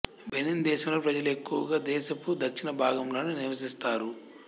Benin దేశంలో ప్రజలు ఎక్కువగా దేశపు దక్షిణ భాగంలోనే నివసిస్తారు